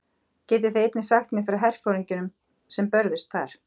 Getið þið einnig sagt mér frá herforingjunum sem börðust þar?